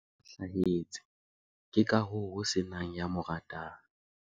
o na kgohlahetse ke ka hoo ho se nang ya mo ratang